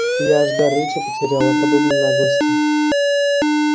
я аж дар речи потеряла от подобной наглости